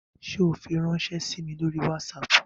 Ṣe o firanṣẹ sí mí lórí WhatsApp?